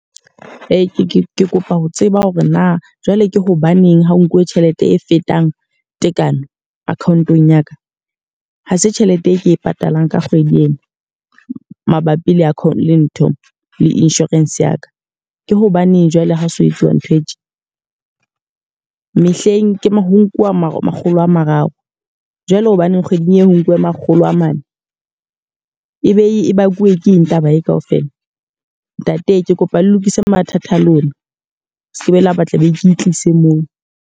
Ee, ke kopa ho tseba hore na jwale ke hobaneng ha ho nkuwe tjhelete e fetang tekano account-ong ya ka. Ha se tjhelete e ke e patalang ka kgwedi ena mabapi le le ntho le insurance ya ka. Ke hobaneng jwale ha ho so etsuwe ntho e tje? Mehleng ho nkuwa makgolo a mararo, jwale hobaneng kgweding e ho nkuwe makgolo a mane. E be e bakuwe ke eng taba e ka ofela? Ntate ke kopa le lokise mathata a lona. Le se ke be la ba tla be ke tlise moo.